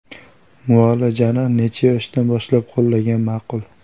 Muolajani necha yoshdan boshlab qo‘llagan ma’qul?